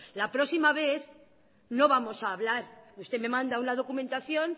la próxima vez no vamos a hablar usted me manda una documentación